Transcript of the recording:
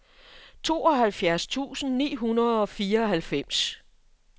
tooghalvfjerds tusind ni hundrede og fireoghalvfems